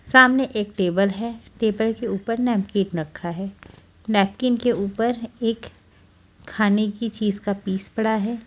सामने एक टेबल है टेबल के ऊपर नैपकिन रखा है नैपकिन के ऊपर एक खाने की चीज़ का पीस पड़ा है।